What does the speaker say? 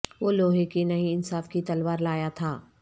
وہ لوہے کی نہیں انصاف کی تلوار لایا تھا